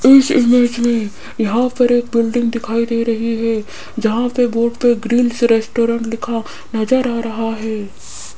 इस इमेज में यहां पर एक बिल्डिंग दिखाई दे रही है जहां पे बोर्ड पे ग्रिल्स रेस्टोरेंट लिखा नजर आ रहा है।